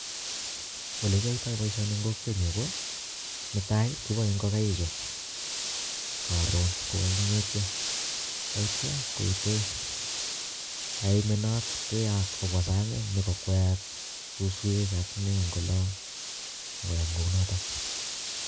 olee kyatai baishai eng kokwenyu koo netai kibae ngigaik chuu karoon ko kagingetyoo taityaa koitee kaimenot keyaat kobwaa sang nee kokweyat suskwek ak nee eng oloo ak koyam